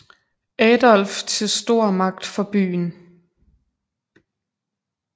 Adolf til stor magt for byen